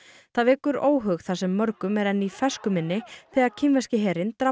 það vekur óhug þar sem mörgum er enn í fersku minni þegar kínverski herinn drap